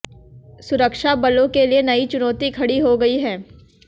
सुरक्षाबलों के लिए नई चुनौती खड़ी हो गई है